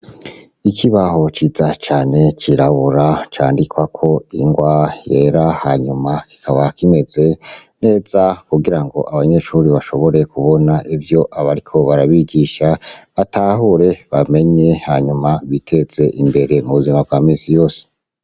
Ikibaho ciza cane cirabura candikwako inrwa yera hanyuma kikaba kimeze neza kugirango abanyeshure bashobore kubona ivyo bariko barabigisha batahure bamenye hama biteze imbere mubuzima bwa misi yose.